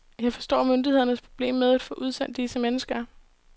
Jeg forstår myndighedernes problemer med at få udsendt disse mennesker.